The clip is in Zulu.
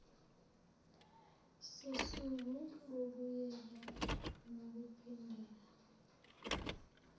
sosuku lokuyeka nokuphindela